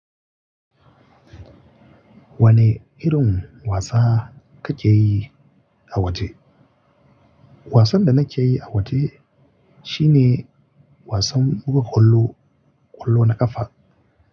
Wane irin wasa kake yi a waje? Wasan da nake yi a waje shine wasan buga kwallo, kwallo na ƙafa.